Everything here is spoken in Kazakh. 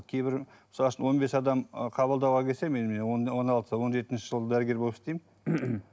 кейбір мысал үшін он бес адам ы қабылдауға келсе он алты он жетінші жыл дәрігер болып істеймін